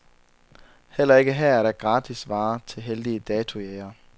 Heller ikke her er der gratis varer til heldige datojægere.